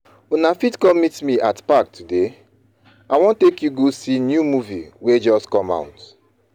Una fit come meet me at park today. I wan take you go see new movie wey just come out.